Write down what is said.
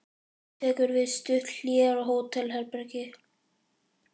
Nú tekur við stutt hlé á hótelherbergi.